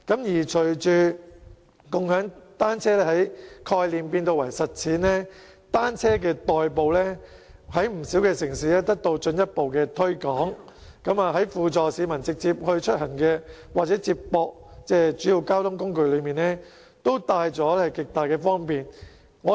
隨着共享單車由概念轉化成實踐，以單車代步在不少城市裏得到進一步的推廣，在輔助市民直接出行或接駁主要交通工具方面，單車都帶來極大方便。